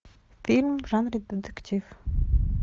фильм в жанре детектив